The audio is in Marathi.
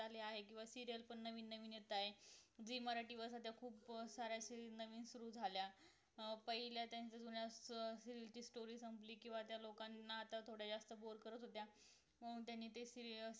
किंवा serial नवीन नवीन येतायेत Zee मराठी वर सध्या खूप साऱ्या serial नवीन सुरु झाल्या पहिला त्यांचा जुन्याच serial ची story संपली किंवा त्या लोकांना आता थोड्या boar करत होत्या म्हणून त्यांनी ते